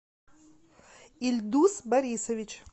ильдус борисович